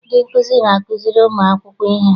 Ndị nkuzi na-azukiri ụmụakwụkwọ ihe.